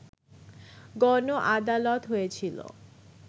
গণ আদালত হয়েছিলো